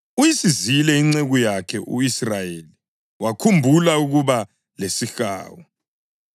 Uyisizile inceku yakhe u-Israyeli, wakhumbula ukuba lesihawu